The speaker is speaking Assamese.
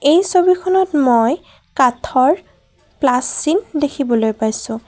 এই ছবিখনত মই কাঠৰ প্লাছ চিন দেখিবলৈ পাইছোঁ।